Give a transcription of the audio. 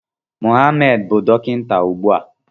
Mohammed bụ dọkịta ugbu a.